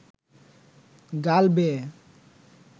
গাল বেয়ে